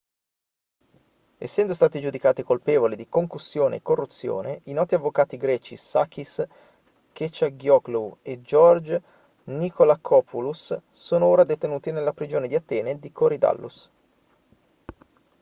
essendo stati giudicati colpevoli di concussione e corruzione i noti avvocati greci sakis kechagioglou e george nikolakopoulos sono ora detenuti nella prigione di atene di korydallus